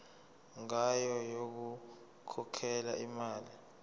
ngayo yokukhokhela imali